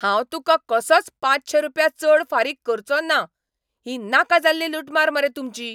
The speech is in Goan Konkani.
हांव तुका कसोच पांचशे रुपया चड फारीक करचों ना. ही नाका जाल्ली लुटमार मरे तुमची.